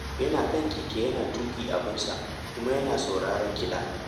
Yana kan keke yana tuƙi abinsa, kuma yana sauraren kiɗa